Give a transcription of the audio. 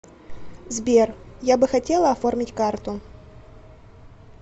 сбер я бы хотела оформить карту